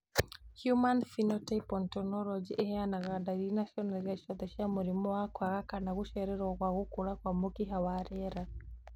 Human Phenotype Ontology ĩheanaga ndariri na cionereria ciothe cia mũrimũ wa kwaga kana gũcererwo gwa gũkũra kwa mũkiha wa rĩera